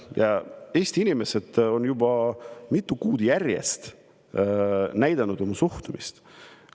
Ja Eesti inimesed on juba mitu kuud järjest näidanud oma suhtumist.